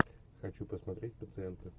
хочу посмотреть пациенты